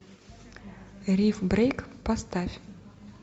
риф брейк поставь